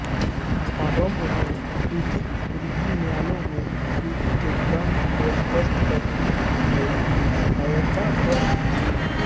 आरंभ में विधिक वृत्ति न्यायालय में विधि के गूढ़ार्थ को स्पष्ट करने के सहायतार्थ थी